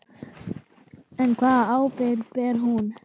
En hvaða ábyrgð ber hún?